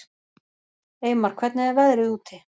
Eymar, hvernig er veðrið úti?